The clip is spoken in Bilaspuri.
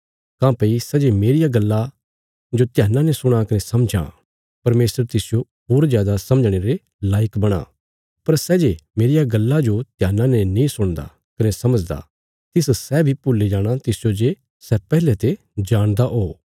काँह्भई सै जे मेरिया गल्ला जो ध्याना ने सुणा कने समझां परमेशर तिसजो होर जादा समझणे रे लायक बणां पर सै जे मेरिया गल्ला जो ध्याना ने नीं सुणदा कने समझदा तिस सै बी भुल्ली जाणा तिसजो जे सै पैहले ते जाणदा हो